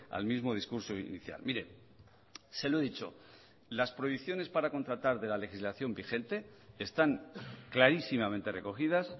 al mismo discurso inicial mire se lo he dicho las prohibiciones para contratar de la legislación vigente están clarísimamente recogidas